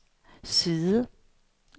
side